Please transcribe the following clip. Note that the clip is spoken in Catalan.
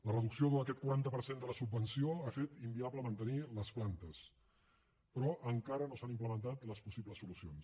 la reducció d’aquest quaranta per cent de la subvenció ha fet inviable mantenir les plantes però encara no s’han implementat les possibles solucions